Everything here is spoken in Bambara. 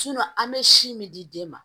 an bɛ si min di den ma